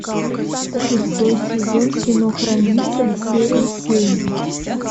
шестой сезон кино хранители серия семь